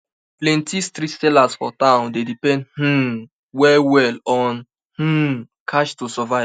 plenty street sellers for town dey depend um well well on um cash to survive